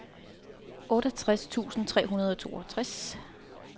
otteogtres tusind tre hundrede og toogtres